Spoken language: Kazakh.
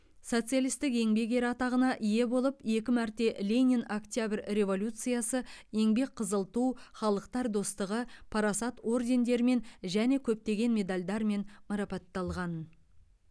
социалистік еңбек ері атағына ие болып екі мәрте ленин октябрь революциясы еңбек қызыл ту халықтар достығы парасат ордендерімен және көптеген медальдармен марапатталған